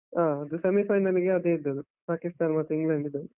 ಆ ಅದು semi final ಲ್ಗೆ, ಅದೇ ಇದ್ದದ್ದು, Pakistan ಮತ್ತೆ England ಇದ್ದದ್ದು.